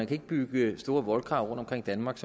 kan bygge store voldgrave rundt omkring danmark